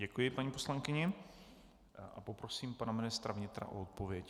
Děkuji paní poslankyni a poprosím pana ministra vnitra o odpověď.